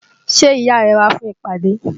Ṣé ìyá rẹ wá fún ìpàdé?